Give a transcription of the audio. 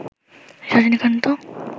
Rajinikanth